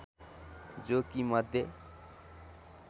जो कि मध्य